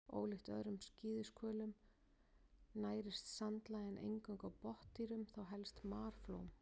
Ólíkt öðrum skíðishvölum nærist sandlægjan eingöngu á botndýrum, þá helst marflóm.